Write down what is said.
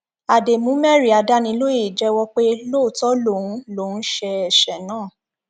àdèmúmérì adánilóye jẹwọ pé lóòótọ lòun lòun ṣe ẹsẹ náà